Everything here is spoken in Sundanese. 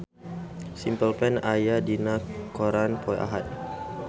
Simple Plan aya dina koran poe Ahad